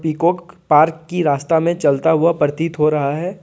Peacock park की रास्ता में चलता हुआ प्रतीत हो रहा है।